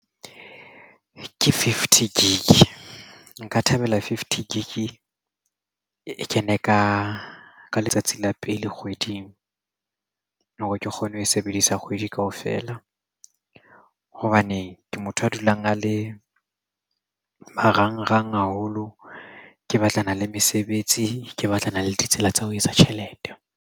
Ke fifty gig, nka thabela fifty gig e kene ka ka letsatsi la pele kgweding hore ke kgone ho e sebedisa kgwedi kgwedi kaofela hobane ke motho a dulang a le marangrang haholo. Ke batlana le mesebetsi ke batlana le ditsela tsa ho etsa tjhelete.